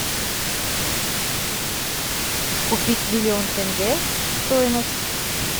купить миллион тенге стоимость